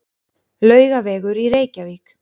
Laugavegur í Reykjavík.